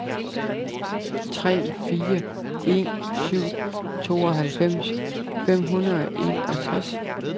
tre fire en syv tooghalvfems fem hundrede og enogtres